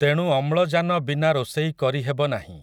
ତେଣୁ ଅମ୍ଳଜାନ ବିନା ରୋଷେଇ କରି ହେବ ନାହିଁ ।